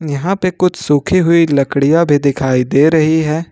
यहां पे कुछ सूखी हुई लकड़ियां भी दिखाई दे रही है।